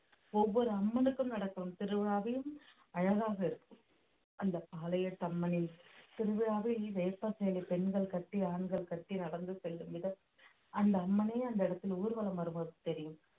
ஒவ்வொரு அம்மனுக்கும் நடக்கும் திருவிழாவிலும் அழகாக இருக்கும் அந்த பாளையத்து அம்மனின் திருவிழாவை வேப்ப சேலை பெண்கள் கட்டி ஆண்கள் கட்டி நடந்து செல்லும் விதம் அந்த அம்மனையே அந்த இடத்தில் ஊர்வலம் வருவது தெரியும்